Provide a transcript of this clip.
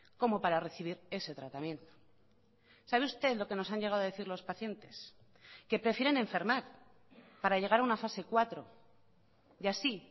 como para recibir ese tratamiento sabe usted lo que nos han llegado a decir los pacientes que prefieren enfermar para llegar a una fase cuatro y así